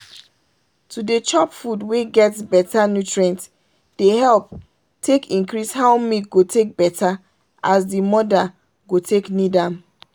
to dey chop food wey get better nutrient dey help take increase how milk go take better as the mother go take need am.